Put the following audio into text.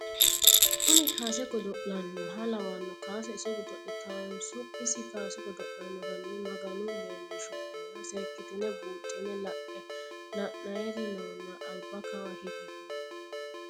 Kuni kaase godolanoha lawanohu kaase iso godolitawonso isi kaase godolano hani maganu leelishonena seekitine buuxine lae lainayiri noona alba kawa higi koo.